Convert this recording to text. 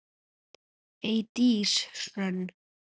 Eydís Hrönn.